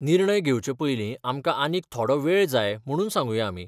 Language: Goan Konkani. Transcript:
निर्णय घेवचें पयलीं आमकां आनीक थोडो वेळ जाय म्हणून सांगुया आमी.